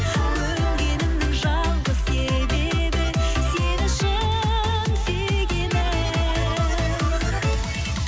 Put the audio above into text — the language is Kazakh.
көнгенімнің жалғыз себебі сен үшін сүйгенім